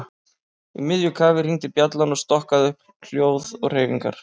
Í miðju kafi hringdi bjallan og stokkaði upp hljóð og hreyfingar.